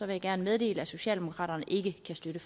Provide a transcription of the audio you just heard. jeg gerne meddele at socialdemokraterne ikke kan støtte